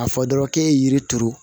A fɔ dɔrɔn k'e ye yiri turu